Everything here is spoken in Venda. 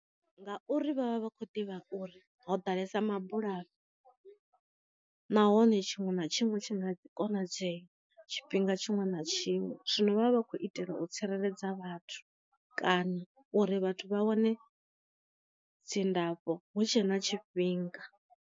Ngauri vhavha vha khou ḓivha uri ho ḓalesa ma bulayo, nahone tshiṅwe na tshiṅwe tshi nga konadzeya tshifhinga tshiṅwe na tshiṅwe, zwino vha vha vha khou itela u tsireledza vhathu kana uri vhathu vha wane dzindafho hu tshe na tshifhinga.